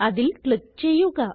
അതിൽ ക്ലിക്ക് ചെയ്യുക